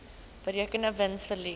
berekende wins verlies